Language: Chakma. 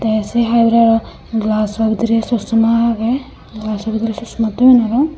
te se hai hurey aro gelaso bidire soksoma agey gelaso bidire soksoma toyon aro.